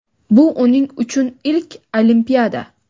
Bu uning uchun ilk Olimpiada!.